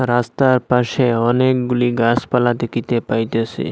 রাস্তার পাশে অনেকগুলি গাসপালা দেখিতে পাইতেসি।